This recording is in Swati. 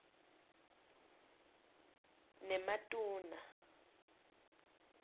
nematuna